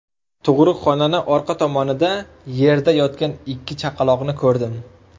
Tug‘ruqxonani orqa tomonida yerda yotgan ikki chaqaloqni ko‘rdim.